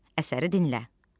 Əsəri dinlə.